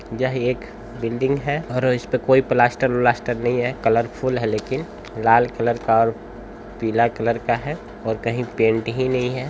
यह एक बिल्डिंग है और इस्पे कोई प्लास्टर -व्लास्टर नहीं है। कलरफूल है लेकिन लाल कलर का और पीला कलर है और कहीं पेंट ही नहीं है।